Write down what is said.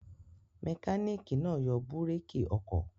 Mẹkáníkì náà yọ búrékì ọkọ̀.